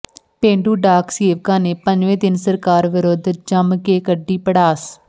ਪੇਂਡੂ ਡਾਕ ਸੇਵਕਾਂ ਨੇ ਪੰਜਵੇਂ ਦਿਨ ਸਰਕਾਰ ਵਿਰੁੱਧ ਜੰਮ ਕੇ ਕੱਢੀ ਭੜਾਸ